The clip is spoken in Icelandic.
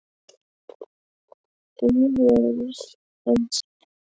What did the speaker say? Auður Ösp.